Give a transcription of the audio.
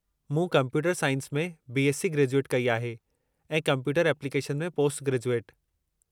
मूं computer science में BSc graduate कई आहे ऐं कंप्यूटर एप्लीकेशन में पोस्टग्रेजुएट।